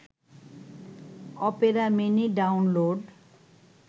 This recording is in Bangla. Opera Mini download